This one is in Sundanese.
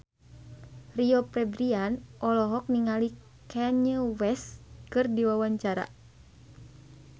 Rio Febrian olohok ningali Kanye West keur diwawancara